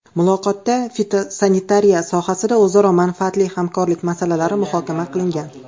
Muloqotda fitosanitariya sohasida o‘zaro manfaatli hamkorlik masalalari muhokama qilingan.